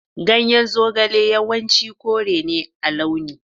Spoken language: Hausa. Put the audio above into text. Ganyen zogale yawanci kore ne a launi.